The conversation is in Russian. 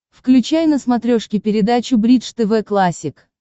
включай на смотрешке передачу бридж тв классик